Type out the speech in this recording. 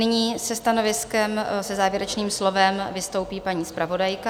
Nyní se stanoviskem, se závěrečným slovem vystoupí paní zpravodajka.